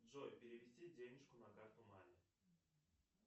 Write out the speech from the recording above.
джой перевести денежку на карту маме